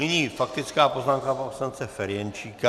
Nyní faktická poznámka pana poslance Ferjenčíka.